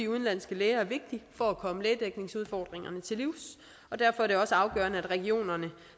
udenlandske læger er vigtig for at komme lægedækningsudfordringerne til livs og derfor er det også afgørende at regionerne